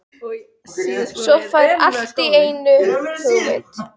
Svo fær hann allt í einu hugmynd.